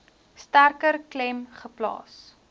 sterker klem geplaas